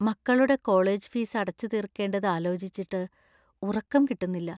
മക്കളുടെ college fees അടച്ചുതീർക്കേണ്ടത് ആലോചിച്ചിട്ട് ഉറക്കം കിട്ടുന്നില്ല.